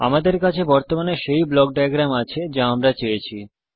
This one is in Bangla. আমাদের কাছে বর্তমানে সেই ব্লক ডায়াগ্রাম আছে যা আমরা চেয়েছি